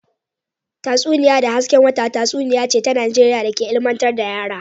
Tatsuniya da hasken wata tatsuniya ce ta Najeriya da ke ilmantar da yara